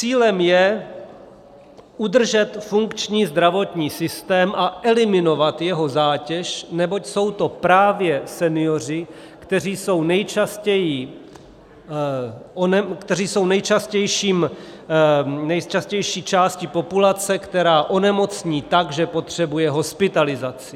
Cílem je udržet funkční zdravotní systém a eliminovat jeho zátěž, neboť jsou to právě senioři, kteří jsou nejčastější částí populace, která onemocní tak, že potřebuje hospitalizaci.